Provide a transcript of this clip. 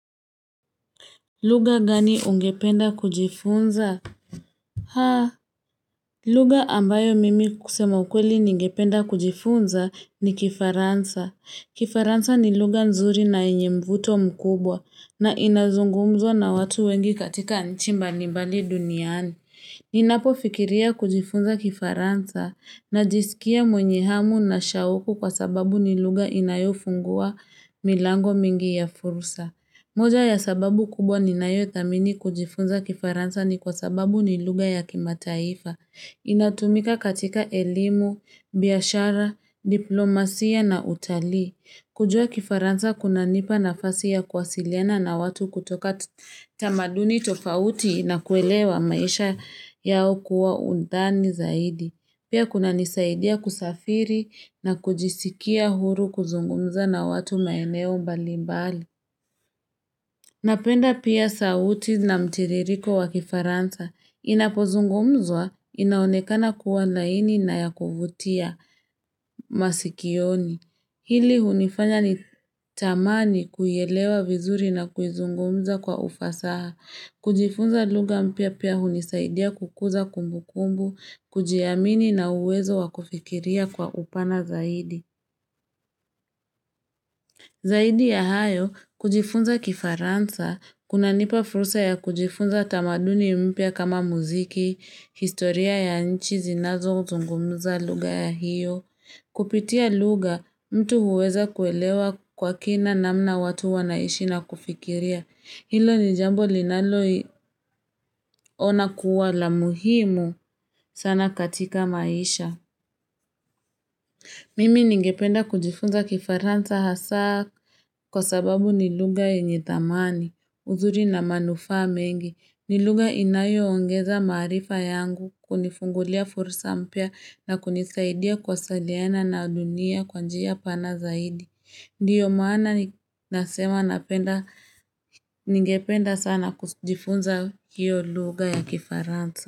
Luga gani ungependa kujifunza? Haa. Lugha ambayo mimi kusema ukweli ningependa kujifunza ni kifaransa. Kifaransa ni lugha nzuri na yenye mvuto mkubwa na inazungumzwa na watu wengi katika nchi mbalimbali duniani. Ninapofikiria kujifunza kifaransa najisikia mwenye hamu na shauku kwa sababu ni lugha inayofungua milango mingi ya fursa. Moja ya sababu kubwa ninayo thamini kujifunza kifaransa ni kwa sababu ni lugha ya kimataifa. Inatumika katika elimu, biashara, diplomasia na utalii. Kujua kifaransa kunanipa nafasi ya kuwasiliana na watu kutoka tamaduni tofauti na kuelewa maisha yao kwa undani zaidi. Pia kunanisaidia kusafiri na kujisikia huru kuzungumza na watu maeneo mbali mbali. Napenda pia sauti na mtiririko wa kifaransa. Inapozungumzwa, inaonekana kuwa laini na ya kuvutia masikioni. Hili hunifanya nitamani kuielewa vizuri na kuzungumza kwa ufasaha. Kujifunza lugha mpya pia hunisaidia kukuza kumbu kumbu, kujiamini na uwezo wa kufikiria kwa upana zaidi. Zaidi ya hayo, kujifunza kifaransa, kunanipa fursa ya kujifunza tamaduni mpya kama muziki, historia ya nchi zinazozungumza lugha ya hiyo. Kupitia lugha, mtu huweza kuelewa kwa kina namna watu wanaishi na kufikiria. Hilo ni jambo linaloona kuwa la muhimu sana katika maisha. Mimi ningependa kujifunza kifaransa hasa kwa sababu ni lugha yenye dhamani, uzuri na manufaa mengi. Ni lugha inayo ongeza maarifa yangu kunifungulia fursa mpya na kunisaidia kuwasiliana na dunia kwa njia pana zaidi. Ndiyo maana nasema ningependa sana kujifunza hiyo lugha ya kifaransa.